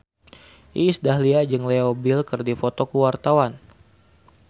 Iis Dahlia jeung Leo Bill keur dipoto ku wartawan